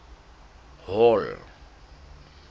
hall